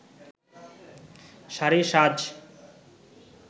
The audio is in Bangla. শাড়ি সাজ